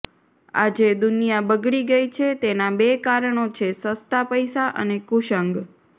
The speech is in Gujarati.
આજે દુનિયા બગડી ગઈ છે તેનાં બે કારણો છે સસ્તા પૈસા અને કુસંગ